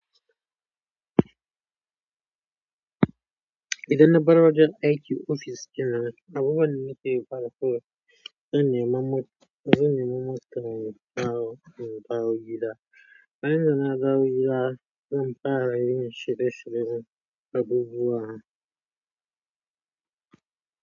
Idan na baro wajen IT ofis kenan, abubuwan da nake fara koyo sun yi mamaki, sun yi mamaki tare da koyon in dawo gida. Bayan da na dawo gida, zan fara yin shirye-shiryen abubuwa.